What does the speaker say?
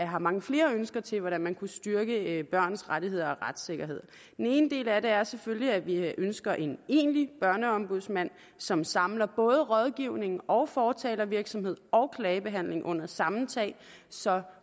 har mange flere ønsker til hvordan man kunne styrke børns rettigheder og retssikkerhed den ene del af det er selvfølgelig at vi ønsker en egentlig børneombudsmand som samler både rådgivning og fortalervirksomhed og klagebehandling under samme tag så